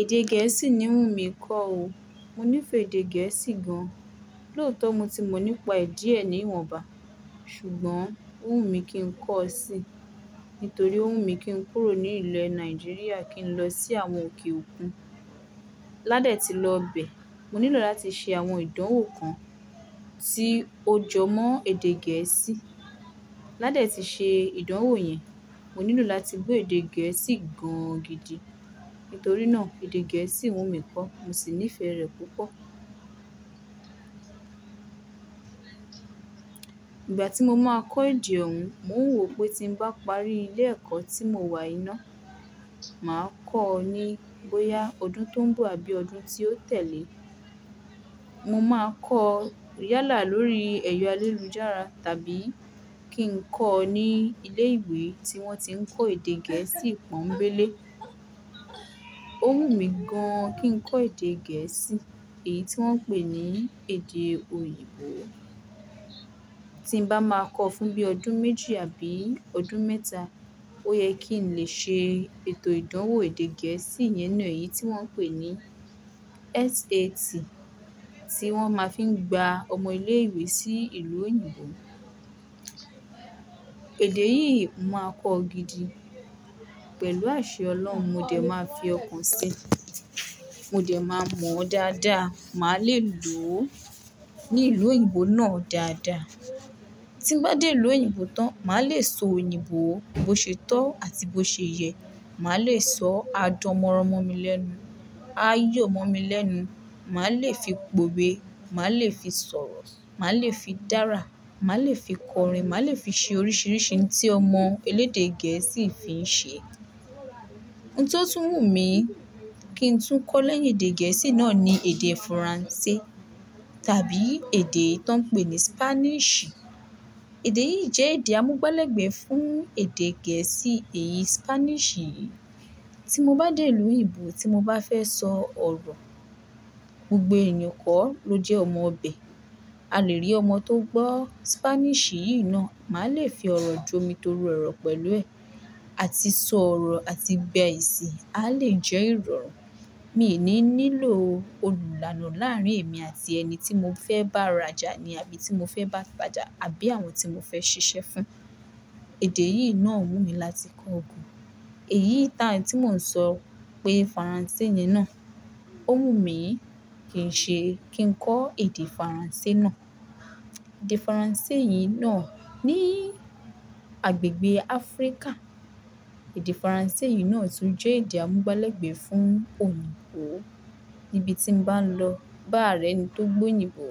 Èdè Gẹ̀ẹ́sì ni ń wùnmí kó o. Mo nífẹ̀ẹ́ èdè Gẹ̀ẹ́sì gan an. Lóòótọ́ mo ti mọ̀ nípa ẹ̀ díẹ̀ ní ìwọ̀nba, ṣùgbọ́n ó wùnmí kí n kọ́ ọ sí, nítorí ó wù mí kí n kúrò ní ilẹ̀ Nàìjíríà kí n lọ sí àwọn òkè òkun. Lá dẹ̀ tí lọ bẹ̀, mo nílò láti ṣe àwọn ìdánwò kan tí ó jọ mọ́ èdè Gẹ̀ẹ́sì. Lá dẹ̀ tí ṣe ìdánwò yẹn, mo nílò láti gbọ́ èdè Gẹ̀ẹ́sì gan gidi, nítorí náà èdè Gẹ̀ẹ́sì wùnmí kó, mo sì nífẹ̀ẹ́ rẹ̀ púpọ̀. Ìgbà tí mo máa kọ́ èdè ọ̀ún, mo ń wò pé tí ń bá parí ilé ẹ̀kọ́ tí mo wà yii ná, màá kọ́ ọ ní bóyá ọdún tó ń bọ̀ àbí ọdún tí ó tẹ̀lé. Mo máa kọ́ ọ yálà lórí ẹ̀yọ alélujára tàbí kí n kọ́ ọ ní ilé ìwé tí wọ́n tí ń kọ́ èdè Gẹ̀ẹ́sì pọ́nńbélé. Ó wù mí gan kí n kọ́ èdè Gẹ̀ẹ́sì, èyí tí wọ́n ń pè ní èdè òyìnbó. Tí ń bá máa kọ́ ọ fún bí ọdún méjì àbí ọdún mẹ́ta, ó yẹ kí n lè ṣe ètò ìdánwò èdè Gẹ̀ẹ́sì yẹn náà, èyí tí wọ́n ń pè ní SAT tí wọ́n máa fi ń gba ọmọ ilé ìwé sí ìlú òyìnbó. Èdè yìí n máa kọ́ ọ gidi. Pẹ̀lú àṣẹ olohun, mo dẹ̀ máa fi ọkàn sí i, mo dẹ̀ máa mọ̀ ọ́ dáadáa. Màá lè lò ó ní ìlú òyìnbó náà dáadáa. Tí ń bá dé ìlú òyìnbó tán, màá lè sọ òyìnbó bó ṣe tọ́ àti bó ṣe yẹ. Màá lè sọ a dánmọ́ràn mọ́ mi lẹ́nu, a yọ̀ mọ́ mi lẹ́nu, màá lè fi pòwe, màá lè fi sọ̀rọ̀, màá lè fi dára, màá lè fi kọrin, màá lè fi ṣe oríṣiríṣi ohun tí ọmọ elédè Gẹ̀ẹ́sì fi ń ṣe. Ohun tó tún wùnmí kí ń tún kọ́ lẹ́yìn èdè Gẹ̀ẹ́sì náà ni èdè Faransé tàbí èdè tí wọ́n ń pè ní Spanish. Èdè yìí jẹ́ èdè amúgbálẹ́gbẹ̀ẹ́ fún èdè Gẹ̀ẹ́sì èyí Spanish yìí. Tí mo bá dé ìlú òyìnbó tí mo bá fẹ́ sọ ọ̀rọ̀, gbogbo eeyan kọ́ ló jẹ́ ọmọ ibẹ̀. A lè rí ọmọ tó gbọ́ Spanish yìí náà, màá lè fi ọ̀rọ̀ jọ́ mi toru ọ̀rọ̀ pẹ̀lú ẹ̀ àti sọ ọ̀rọ̀ àti gba èsì, a lè jẹ́ ìrọ̀rùn. Mi ò ní nílò olùlàànà láàárín èmi àti ẹni tí mo fẹ́ bá rajà ni àbí tí mo fẹ́ bá tajà àbí àwọn tí mo fẹ́ ṣiṣẹ́ fún. Èdè yìí náà wù mí láti kọ́ gan. Èyí taà tí mò ń sọ pé Faransé yìí náà, ó wùnmí kí n ṣe, kí n kọ́ èdè Faransé náà. Èdè Faransé yìí náà ní agbègbè Áfríkà, èdè Faransé yìí náà tún jẹ́ èdè amúgbálẹ́gbẹ̀ẹ́ fún òyìnbó. Nibi tí mo n bá ń lọ bá rẹni tó gbọ́ òyìnbó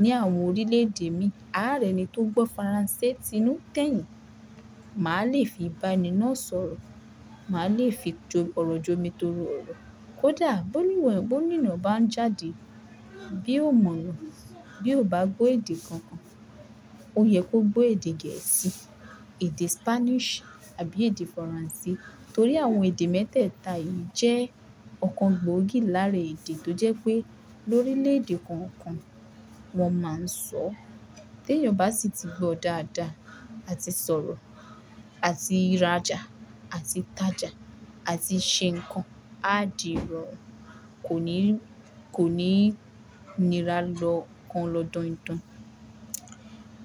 ní àwọn orílẹ̀-èdè mi, a rẹni tó gbọ́ Faransé ti inú tẹ́yìn, màá lè fi bá ẹni náà sọ̀rọ̀, màá lè fi ọ̀rọ̀ jọ́ mi toru ọ̀rọ̀. Kódà bó níwọ̀n, bó nína bá ń jáde, bí o mọ̀ na, bí o bá gbọ́ èdè kankan, ó yẹ kó gbọ́ èdè Gẹ̀ẹ́sì, èdè Spanish àbí èdè Faransé, torí àwọn èdè mẹ́tẹ̀ẹ̀ta yìí jẹ́ ọ̀kan gbòógì láàárín èdè tó jẹ́ pé lórílẹ̀-èdè kọọkan wọ́n máa ń sọ. Tí ènìyàn bá sì ti gbọ́ dáadáa àti sọ̀rọ̀ àti rajà àti tajà àti ṣe nǹkan, a di ìrọ̀rùn, kò ní, kò ní nira lọ́ kan lọ́ dọindọin,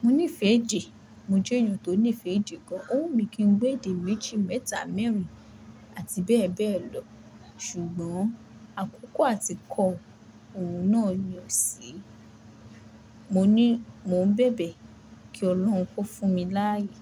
Mo nífẹ̀ẹ́ èdè. Mo jẹ́ ènìyàn tó nífẹ̀ẹ́ èdè gan an. Ó wù mí kí n gbọ́ èdè méjì, mẹ́ta, mẹ́rìn àti bẹ́ẹ̀ bẹ́ẹ̀ lọ. Ṣùgbọ́n àkókò àti kọ, òun náà ni o sí i. Mo ní, mò ń bẹbẹ kí Ọlọ́run kó fún mi láàyè.